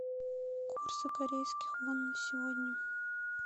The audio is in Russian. курсы корейских вон на сегодня